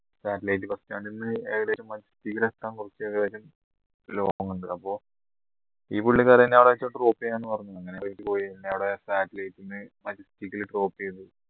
satelite bus stand ന്ന് ഏകദേശം മജസ്റ്റിക്കിൽ എത്താൻ കുറച്ച് long ഉണ്ട് അപ്പൊ ഈ പുള്ളിക്കാരൻ എന്നെ അവിടെ drop ചെയ്യാന് പറഞ്ഞു അങ്ങനെ പോയി പിന്നെ അവിടെ സാറ്റലൈറ്റ്ന്ന് മജസ്റ്റിക്കൽ drop ചെയ്തു